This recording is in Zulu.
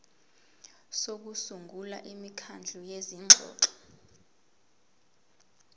sokusungula imikhandlu yezingxoxo